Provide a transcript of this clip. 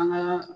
An ka